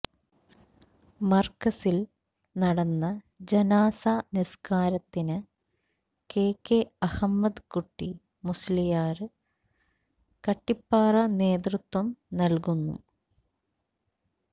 മര്കസില് നടന്ന ജനാസ നിസ്കാരത്തിന് കെ കെ അഹ്മദ് കുട്ടി മുസ്ലിയാര് കട്ടിപ്പാറ നേതൃത്വം നല്കുന്നു